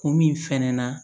Kun min fɛnɛ na